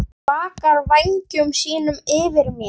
Blakar vængjum sínum yfir mér.